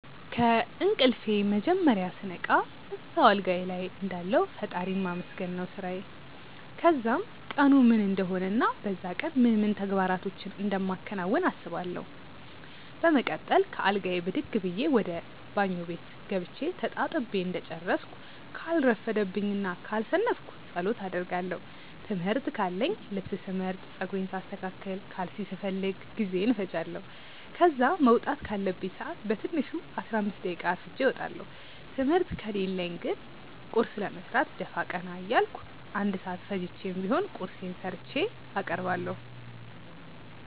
ከእንቅልፌ መጀመርያ ስነቃ እዛው አልጋዬ ልይ እንዳለሁ ፈጣሪን ማመስገን ነው ስራዬ። ከዛም ቀኑ ምን እንደሆነ እና በዛ ቀን ምን ምን ተግባራቶችን እንደማከናውን አስባለው። በመቀጠል ከአልጋዬ ብድግ ብዬ ወደ ባኞ ቤት ገብቼ ተጣጥቤ እንደጨረስኩ ካልረፈደብኝ እና ካልሰነፍኩ ጸሎት አደርጋለው። ትምህርት ካለኝ ልብስ ስመርጥ፣ ጸጉሬን ሳስተካክል፣ ካልሲ ስፈልግ ጊዜዬን እፈጃለው። ከዛ መውጣት ካለብኝ ሰአት በትንሹ 15 ደቂቃ አርፍጄ እወጣለው። ትምህርት ከሌለኝ ግን ቁርስ ለመስራት ደፋ ቀና እያልኩ 1 ሰአት ፈጅቼም ቢሆን ቁርሴን ሰርቼ አቀርባለሁ።